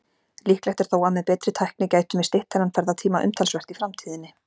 Líklegt er þó að með betri tækni gætum við stytt þennan ferðatíma umtalsvert í framtíðinni.